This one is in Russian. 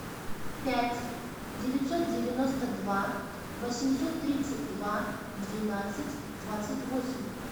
пять девятьсот девяносто два восемьсот тридцать два двенадцать двадцать восемь